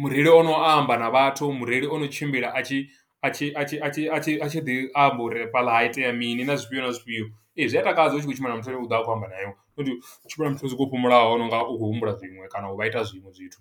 Mureili o no amba na vhathu, mureili o no tshimbila a tshi a tshi a tshi a tshi a tshi a tshi ḓi amba uri fhaḽa ha itea mini, na zwifhio na zwifhio. Ee, zwi a takadza u tshi khou tshimbila na muthu ane u ḓo vha a khou amba na iwe, not u tshimbila na muthu soko u fhumulaho. a nonga u khou humbula zwiṅwe kana u vha ita zwiṅwe zwithu.